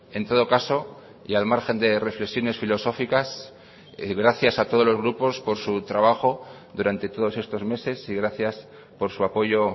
en todo caso y al margen de reflexiones filosóficas gracias a todos los grupos por su trabajo durante todos estos meses y gracias por su apoyo